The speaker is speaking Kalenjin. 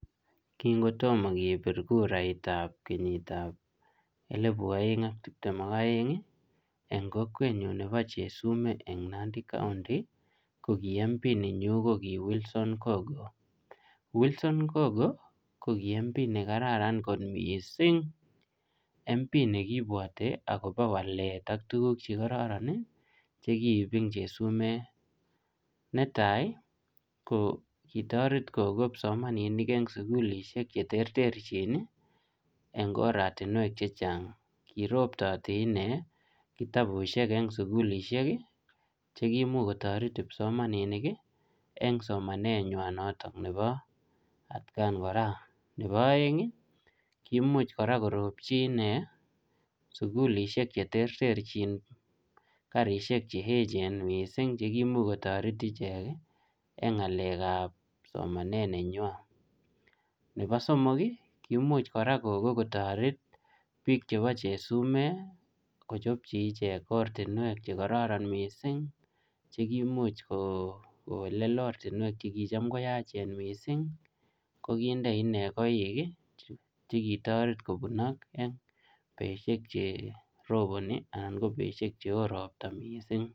Kingotomo kepir kurait ap kenyit ap elepu aeng ak tiptem ak aeng, eng kokwet nyu nebo Chesumei eng Nandi county, ko kiy MP nenyu ko kiy Wilson Kogo. Wilson Kogo ko kiy MP ne kararan kot missing. MP nekibwte akobo walet ak tuguk che kararan, che kiip ing Chesumei. Ne tai, ko kitoret kokop kipsomaninik eng sukulishek che terterchin, eng oratunwek chechang'. Kiroptoti inee kitabushek eng sukulishek, chekimuch kotoret kipsomaninik, eng somanet nywa notok nebo atkaan kora. Nebo aeng, kimuch kora koropchi inee sukulishek che terterchin, karishek che echen misssing chekimuch kotoret ichek eng ngalek ap somanet nenywaa. Nebo somok, kimuch kora koko kotoret biik chebo Chesumei, kochopchi ichek ortinwek che karaarn missing, che kimuch ko um kowelel otrinwek che kicham koyachen missing. Ko kinde inee koik che kitoret kobunot eng beshek che roboni, anan ko beshek che oo ropta missing.